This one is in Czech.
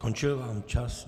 Skončil vám čas.